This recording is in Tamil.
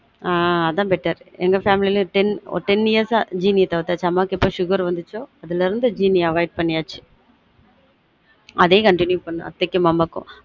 ஆஹ் அதான் better எங்க family உம் ten years அ சீனிய தவிர்த்தாச்சு அம்மாக்கு எப்ப sugar வந்த்ச்சொ அதுல இருந்து சீனிய avoid பண்ணியாச்சு அதே continue பண்ணு அத்தைக்கும் மாமாக்கும்